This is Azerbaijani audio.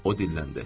O dilləndi.